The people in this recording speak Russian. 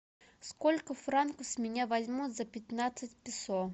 сколько франков с меня возьмут за пятнадцать песо